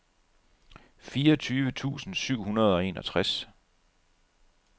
fireogtyve tusind syv hundrede og enogtres